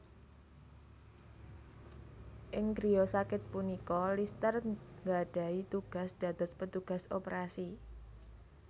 Ing griya sakit punika Lister nggadhahi tugas dados petugas operasi